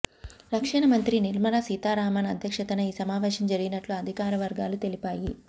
రక్షణ మంత్రి నిర్మలా సీతారామన్ అధ్యక్షతన ఈ సమావేశం జరిగినట్టు అధికార వర్గాలు తెలిపాయి